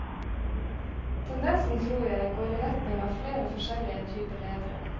Tendensen tror jeg går i retning av flere forskjellige typer ledere.